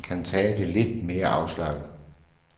Medhjælperen kan tage det lidt mere afslappet.